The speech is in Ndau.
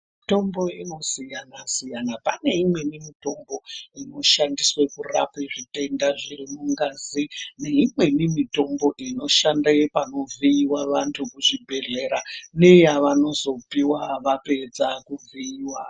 Mitombo inosiyana siyana pane imweni mitombo inoshandiswe kurapa zvitenda zviri mungazi neimweni mitombo inoshande pakuvhiiwa vantu kuzvibhedhlera nevanozopiiwa vapedza kuvhiiwa.